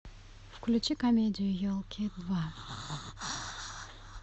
включи комедию елки два